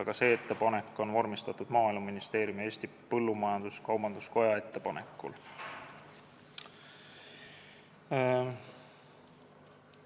Ka see ettepanek on vormistatud Maaeluministeeriumi ja Eesti Põllumajandus-Kaubanduskoja ettepanekul.